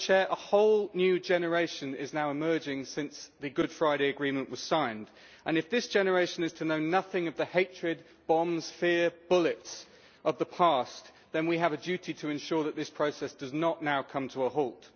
A whole new generation is now emerging since the Good Friday Agreement was signed and if this generation is to know nothing of the hatred, bombs, fear and bullets of the past, then we have duty to ensure that this process does not now come to a halt.